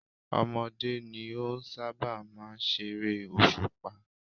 Ọmọdé ní ó sábà máa ń ṣe eré òṣùpá.